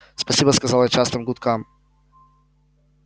спасибо сказал я частым гудкам